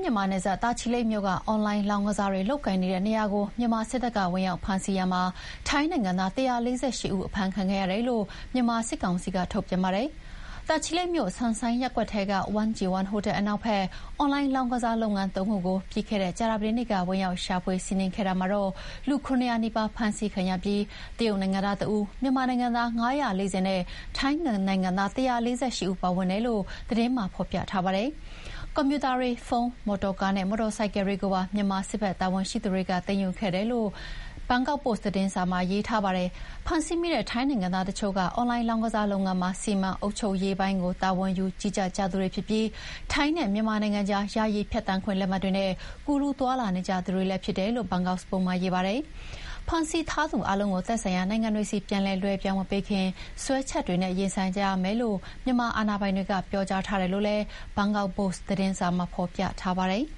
မြန်မာနယ်စပ် တာချီလိတ်မြို့က အွန်လိုင်းလောင်းကစားတွေလုပ်ကိုင်နေတဲ့နေရာကို မြန်မာစစ်တပ်က ဝင်ရောက်ဖမ်းဆီးရာမှာ ထိုင်းနိုင်ငံသား ၁၄၈ ဦး အဖမ်းခံခဲ့ရတယ်လို့ မြန်မာစစ်ကောင်စီက ထုတ်ပြန်ပါတယ်။ တာချီလိတ်မြို့၊ ဆန်ဆိုင်းရပ်ကွက်ထဲက 1G1 ဟိုတယ်အနောက်ဘက် အွန်လိုင်းလောင်းကစားလုပ်ငန်း ၃ ခုကို ပြီးခဲ့တဲ့ ကြာသပတေးနေ့က ဝင်ရောက်ရှာဖွေစီးနင်းခဲ့တာမှာ လူ ၇၀၀ နီးပါးဖမ်းဆီးခံရပြီး တရုတ်နိုင်ငံသား တဦး၊ မြန်မာနိုင်ငံသား ၅၄၀ နဲ့ ထိုင်းနိုင်ငံသား ၁၄၈ ဦးပါဝင်တယ်လို့လည်း သတင်းမှာ ဖော်ပြထားပါတယ်။ ကွန်ပျူတာတွေ၊ ဖုန်း၊ မော်တော်ကားနဲ့ မော်တော်ဆိုင်ကယ်တွေကိုပါ မြန်မာစစ်ဘက်တာဝန်ရှိသူတွေ သိမ်းယူခဲ့တယ်လို့လည်း ဆိုပါတယ်။ ဖမ်းဆီးမိတဲ့ ထိုင်းနိုင်သားတချို့က အွန်လိုင်းလောင်းကစားလုပ်ငန်းမှာ စီမံအုပ်ချုပ်ရေးပိုင်းကို တာဝန်ယူကြသူတွေဖြစ်ပြီး ထိုင်းနဲ့မြန်မာနိုင်ငံကြား ယာယီဖြတ်သန်းခွင့်လက်မှတ်တွေနဲ့ ကူးလူးသွားလာနေကြသူတွေလည်းဖြစ်တယ်လို့ ဘန်ကောက်စ်ပို့စ်မှာ ရေးပါတယ်။ ဖမ်းဆီးထားသူအားလုံးကို သက်ဆိုင်ရာနိုင်ငံဆီ ပြန်လည်လွှဲပြောင်းမပေးခင် စွဲချက်တွေနဲ့ ရင်ဆိုင်ကြရမယ်လို့ မြန်မာအာဏာပိုင်တွေက ပြောကြားထားတယ်လို့လည်း ဘန်ကောက်ပို့စ်သတင်းမှာ ဖော်ပြထားပါတယ်။